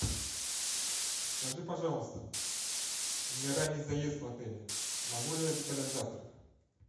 скажи пожалуйста у меня ранний заезд в отеле могу ли я заказать завтрак